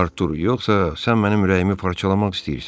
Artur, yoxsa sən mənim ürəyimi parçalamaq istəyirsən?